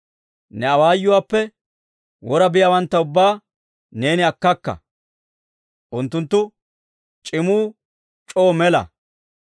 Ne awaayuwaappe wora biyaawantta ubbaa neeni akkakka; unttunttu c'imuu c'oo mela.